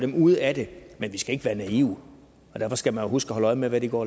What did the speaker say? dem ude af det men vi skal ikke være naive og derfor skal man jo huske at holde øje med hvad de går